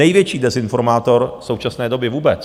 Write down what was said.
Největší dezinformátor současné doby vůbec.